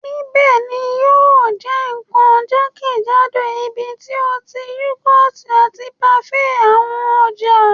Nibẹ ni yio je kan jakejado ibiti o ti yougurt ati parfaits awọn ọja